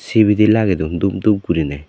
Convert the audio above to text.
sibidi lagedon dup dup gurinei.